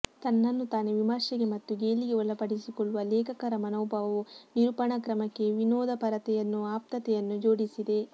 ತನ್ನನ್ನು ತಾನೇ ವಿಮರ್ಶೆಗೆ ಮತ್ತು ಗೇಲಿಗೆ ಒಳಪಡಿಸಿಕೊಳ್ಳುವ ಲೇಖಕರ ಮನೋಭಾವವು ನಿರೂಪಣಾ ಕ್ರಮಕ್ಕೆ ವಿನೋದಪರತೆಯನ್ನೂ ಆಪ್ತತೆಯನ್ನೂ ಜೋಡಿಸಿದೆ